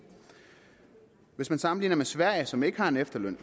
hvis man sammenligner med sverige som ikke har en efterløn